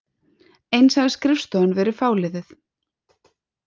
Eins hafi skrifstofan verið fáliðuð